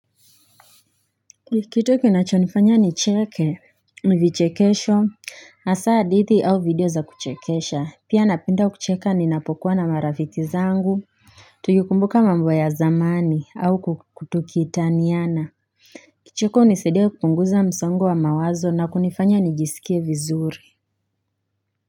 Kitu kinachonifanya nicheke, ni vichekesho, hasa hadithi au video za kuchekesha, pia napenda kucheka ninapokuwa na marafiki zangu Tukikumbuka mambo ya zamani, au tukitaniana Kicheko hunisaidia kupunguza msongo wa mawazo na kunifanya nijisikie vizuri.